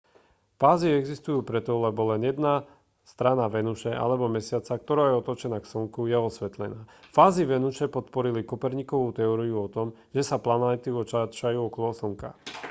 fázy existujú preto lebo len jedna strana venuše alebo mesiaca ktorá je otočená k slnku je osvetlená. fázy venuše podporili kopernikovu teóriu o tom že sa planéty otáčajú okolo slnka